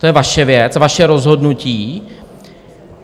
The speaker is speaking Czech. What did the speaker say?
To je vaše věc, vaše rozhodnutí.